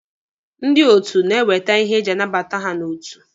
Ndị otu na-ewete ihe eji anabata ha n'otu.